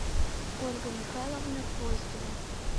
ольга михайловна гвоздева